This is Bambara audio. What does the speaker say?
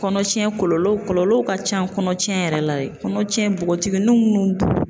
Kɔnɔtiɲɛn kɔlɔlɔw kɔlɔlɔw ka ca kɔnɔtiɲɛn yɛrɛ la, kɔnɔtiɲɛ bogotigunuw munnu